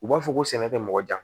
U b'a fɔ ko sɛnɛ tɛ mɔgɔ jan